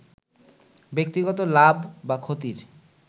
ব্যক্তিগত লাভ বা ক্ষতির